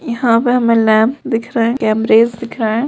यहाँ पे हमे नैप दिख रहा है केम्रेस दिख रहे है।